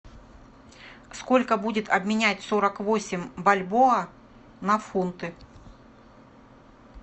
сколько будет обменять сорок восемь бальбоа на фунты